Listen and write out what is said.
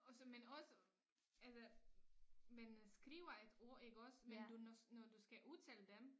Også men også altså man skriver et ord iggås men du når når du skal udtale dem